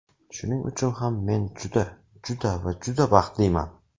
Shuning uchun ham men juda, juda va juda baxtliman!